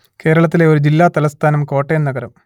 കേരളത്തിലെ ഒരു ജില്ല തലസ്ഥാനം കോട്ടയം നഗരം